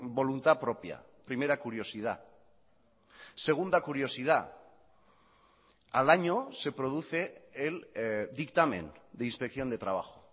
voluntad propia primera curiosidad segunda curiosidad al año se produce el dictamen de inspección de trabajo